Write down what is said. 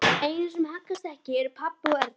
Einu sem haggast ekki eru pabbi og Erna.